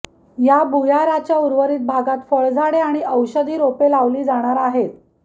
या भुयाराच्या उर्वरित भागात फळझाडे आणि औषधी रोपे लावली जाणार आहेत